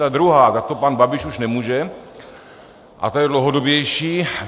Ta druhá, za to pan Babiš už nemůže, a ta je dlouhodobější.